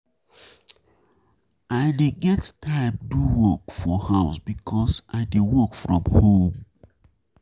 I dey get time do work work for house because I dey work from home.